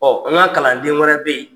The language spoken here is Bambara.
an ŋa kalanden wɛrɛ be yen.